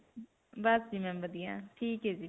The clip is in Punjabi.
ਬਸ ਜੀ ma'am ਵਧੀਆ. ਠੀਕ ਹੈ ਜੀ ਫਿਰ.